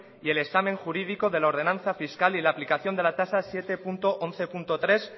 y el examen jurídico de la ordenanza fiscal y la aplicación de la tasa siete punto once punto tres